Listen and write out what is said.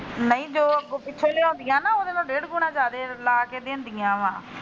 ਨਹੀ ਜੋ ਪਿਛਿਓ ਲਿਆਉਂਦੀਆਂ ਨਾ ਉਹਦੇ ਨਾਲੋ ਡੇਢ ਗੁਣਾ ਜਾਦੇ ਲਾ ਕੇ ਦਿੰਦੀਆਂ ਵਾ।